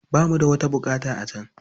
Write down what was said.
Ba mu da wata buƙata a can.